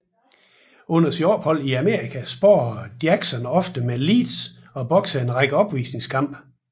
Under sit ophold i Amerika sparrede Jackson ofte med Lees og boksede en række opvisningskampe